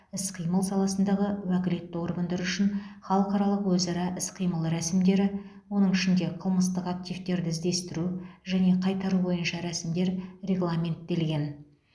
іс қимыл саласындағы уәкілетті органдар үшін халықаралық өзара іс қимыл рәсімдері оның ішінде қылмыстық активтерді іздестіру және қайтару бойынша рәсімдер регламенттелген